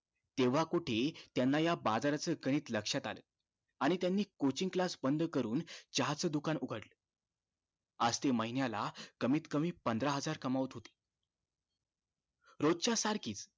तेंव्हा कुठे त्यांना या बाजाराचं गणित लक्ष्यात आलं आणि त्यांनी coaching class बंद करून चहा च दुकान उघडलं आज ते महिन्याला कमीतकमी पंधरा हजार कमावत होते रोजच्या सारखीच